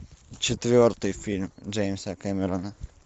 четвертый фильм джеймса кэмерона